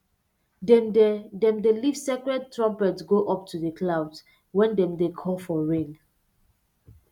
dem dey dem dey lift sacred trumpet go up to the clouds when dem dey call for rain